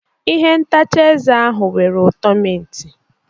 Ihe ntacha eze ahụ nwere ụtọ mint.